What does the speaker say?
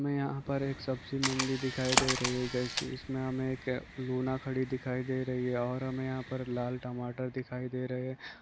में यहाँ पर एक सब्जी मंडी दिखाई दे रही है जैसे इसमें हमे एक लूना खड़ी दिखाई दे रही है और हुमें यहाँ पर लाल टमाटर दिखाई दे रहे है।